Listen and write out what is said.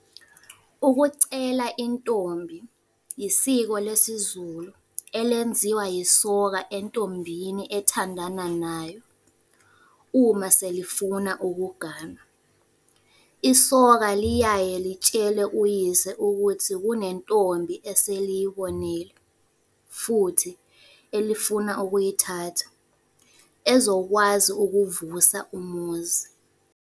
Ukucela intombi yisiko lesiZulu elenziwa yisoka entombini ethandana nayo uma selifuna ukuganwa. Isoka liyaye litshele uyise ukuthi kunentombi eseliyibonile futhi elifuna ukuyithatha, ezokwazi ukuvusa umuzi.